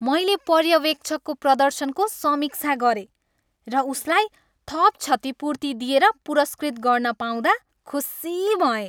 मैले पर्यवेक्षकको प्रदर्शनको समीक्षा गरेँ र उसलाई थप क्षतिपूर्ति दिएर पुरस्कृत गर्न पाउँदा खुसी भएँ।